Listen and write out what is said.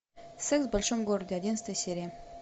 секс в большом городе одиннадцатая серия